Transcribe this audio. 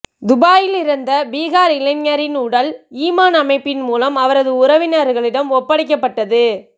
துபாயில் இறந்த பீகார் இளைஞரின் உடல் ஈமான் அமைப்பின் மூலம் அவரது உறவினர்களிடம் ஒப்படைக்கப்பட்டது